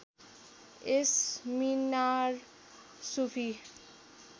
यस मिनार सुफी